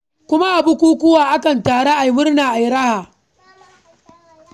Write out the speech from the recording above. Kuma a bukukuwa akan taru a yi murna a yi raha.